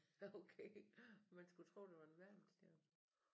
Okay man skulle tro det var en verdensstjerne